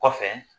Kɔfɛ